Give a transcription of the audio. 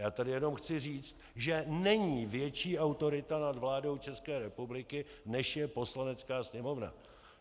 Já tady jenom chci říci, že není větší autorita nad vládou České republiky, než je Poslanecká sněmovna.